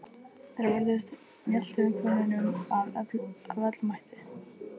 Þær vörðust mjaltakonunum af öllum mætti.